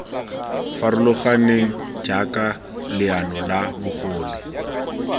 farologaneng jaaka leano la bogole